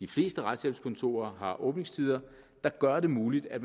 de fleste retshjælpskontorer har åbningstider der gør det muligt at